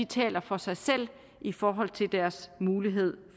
taler for sig selv i forhold til kvindernes mulighed